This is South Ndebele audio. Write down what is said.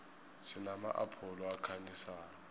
sinama apholo ayakhanyisa